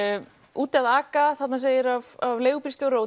úti að aka þarna segir af leigubílstjóra og